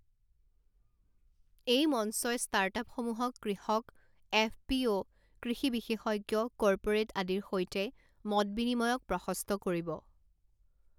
এই মঞ্চই ষ্টাৰ্টআপসমূহক কৃষক, এফপিঅ, কৃষি বিশেষজ্ঞ, কৰ্পৰেট আদিৰ সৈতে মত বিনিময়ক প্ৰশস্ত কৰিব।